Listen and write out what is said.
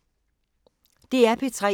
DR P3